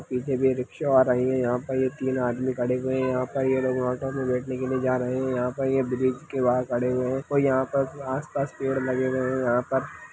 पीछे भी रिक्शा आ रही है यहाँ पर ये तीन आदमी खड़े हुए है यहाँ पर ये लोग ऑटो मे बेठने के लिए जा रहे है यहाँ पर ये ब्रिज के बहार खड़े हुए है कोई यहाँ पर आसपास पेड़ लगे हुए है यहाँ पर --